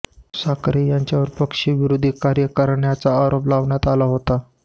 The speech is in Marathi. साखरे यांच्यावर पक्षविरोधी कार्य करण्याचा आरोप लावण्यात आला होता